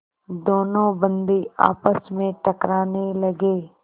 दोनों बंदी आपस में टकराने लगे